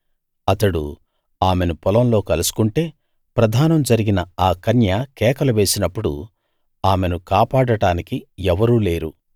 అతడు ఆమెను పొలంలో కలుసుకుంటే ప్రదానం జరిగిన ఆ కన్య కేకలు వేసినప్పుడు ఆమెను కాపాడడానికి ఎవరూ లేరు